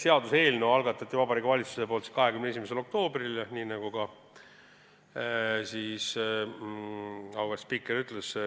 Seaduseelnõu algatas Vabariigi Valitsus 21. oktoobril, nagu auväärt spiiker ütles.